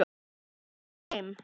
Hann er með þeim.